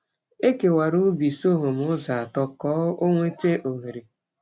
Ekewara ubi sọgọm ụzọ atọ ka ọ nweta oghere.